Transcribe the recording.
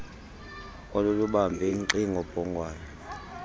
olulubambe nkxi ngobhongwane